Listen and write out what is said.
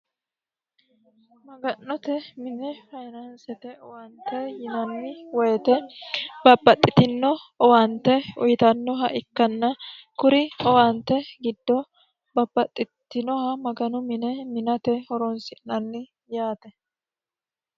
maga'note minne fayinansete owante yinanni woyite babbaxxitino owaante uyitannoha ikkanna kuri owaante giddoo bapaxxitinoha maganu mine minate horoonsi'nanni yaate